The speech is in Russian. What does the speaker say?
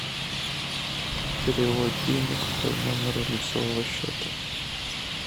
перевод денег по номеру лицевого счета